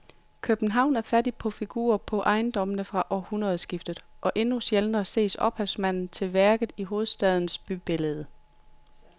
København er fattig på figurer på ejendommene fra århundredskiftet og endnu sjældnere ses ophavsmanden til værket i hovedstadens bybillede.